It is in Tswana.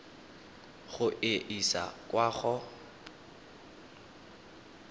go e isa kwa go